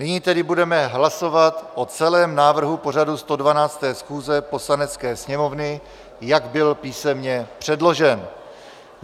Nyní tedy budeme hlasovat o celém návrhu pořadu 112. schůze Poslanecké sněmovny, jak byl písemně předložen.